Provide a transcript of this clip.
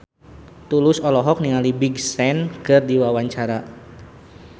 Tulus olohok ningali Big Sean keur diwawancara